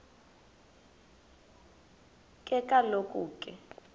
ke kaloku ke